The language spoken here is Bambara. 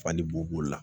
Fali bo b'o la